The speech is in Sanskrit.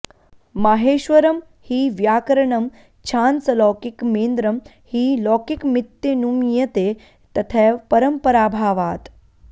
माहेश्वरं हि व्याकरणं छान्दसलौकिकमेन्द्रं हि लौकिकमित्यनुमीयते तथैव परम्पराभावात्